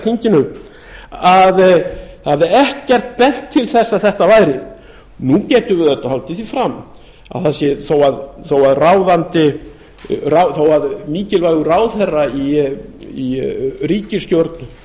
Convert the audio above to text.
þinginu að ekkert hefði bent til þess að þetta væri nú getum við auðvitað haldið því fram að þó að mikilvægur ráðherra í ríkisstjórn